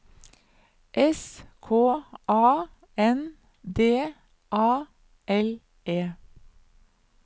S K A N D A L E